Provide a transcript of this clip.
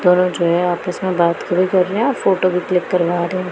दोनों जो है आपस में बात कर रहें हैं फोटो भी क्लिक करवा रहे हैं।